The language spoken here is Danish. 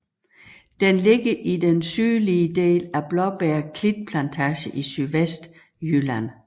Den ligger i den sydlige del af Blåbjerg Klitplantage i Sydvestjylland